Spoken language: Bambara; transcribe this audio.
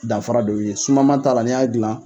Dafara de y'o ye. Sumaman ta la ni y'a gilan.